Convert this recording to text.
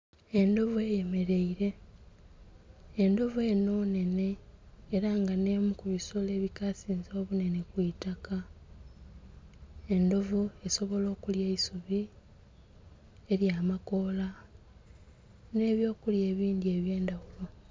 Endhovu eyemereire endhovu enho nnhene era nga nemu kunsolo edhikasinze kubannhene kwitaka. Endhovu esobola okulya eisubi elya amakola nhe byo kulya ebindhi ebyendhaghulo.